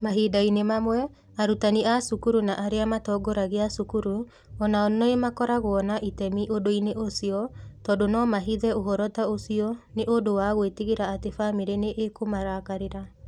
Mahinda-inĩ mamwe, arutani a cukuru na arĩa matongoragia cukuru o nao nĩ makoragwo na itemi ũndũ-inĩ ũcio, tondũ no mahithe ũhoro ta ũcio nĩ ũndũ wa gwĩtigĩra atĩ famĩlĩ nĩ ikũmarakarĩra.